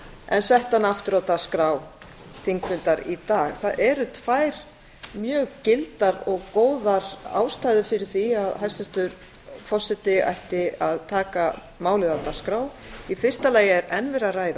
en setti hana aftur á dagskrá þingfundar í dag það eru tvær mjög gildar og góðar ástæður fyrir því að hæstvirtur forseti ætti að taka málið á dagskrá í fyrsta lagi er enn verið að ræða